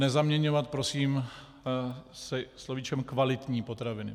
Nezaměňovat prosím se slovíčkem kvalitní potraviny.